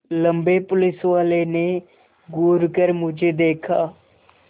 लम्बे पुलिसवाले ने घूर कर मुझे देखा